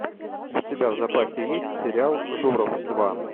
у тебя в запасе есть сериал журов два